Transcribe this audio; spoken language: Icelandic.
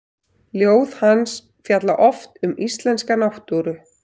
Ljóð hans fjalla oft um íslenska náttúru.